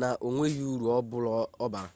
na onweghi uru ọbụla ọ bara